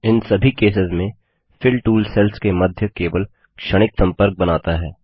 इन सभी केसेस में fill tool cells के मध्य केवल क्षणिक संपर्क बनाता है